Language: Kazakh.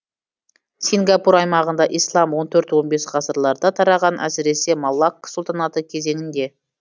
сингапур аймағында ислам он төртінші он бесінші ғасырларда тараған әсіресе малакк сұлтанаты кезеңінде